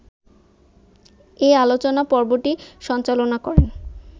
এ আলোচনা পর্বটি সঞ্চালনা করেন